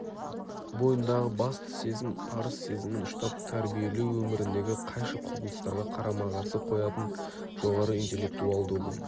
бойындағы басты сезім парыз сезімін ұштап тәрбиелеу өміріндегі қайшы құбылыстарға қарама-қарсы қоятын жоғары интеллектуалды ұғым